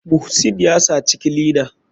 Muhsin yasaci clina.